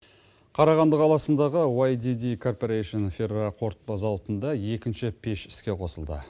қарағанды қаласындағы вайдиди корпорэйшн фероқорытпа зауытында екінші пеш іске қосылды